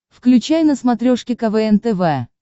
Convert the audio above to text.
включай на смотрешке квн тв